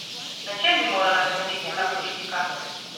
Na čem bi morala temeljiti ta politika?